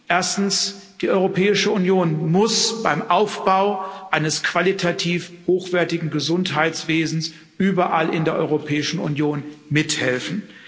Erstens Die Europäische Union muss beim Aufbau eines qualitativ hochwertigen Gesundheitswesens überall in der Europäischen Union mithelfen.